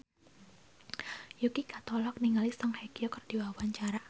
Yuki Kato olohok ningali Song Hye Kyo keur diwawancara